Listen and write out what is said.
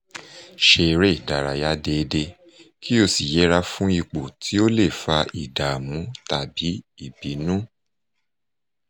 ṣe eré ìdárayá déédéé kó o sì yẹra fún ipò tó lè fa ìdààmú tàbí ìbínú